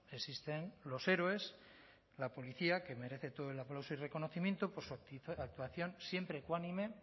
existen los héroes la policía que merece todo el aplauso y reconocimiento por su actuación siempre ecuánime